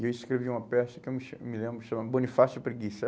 E eu escrevi uma peça que eu me cha, me lembro, chama Bonifácio Preguiça.